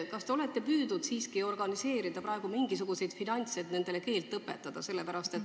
Kas te olete püüdnud organiseerida mingisuguseid finantse, et nendele inimestele keelt õpetada?